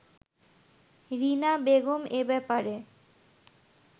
রীনা বেগম এ ব্যাপারে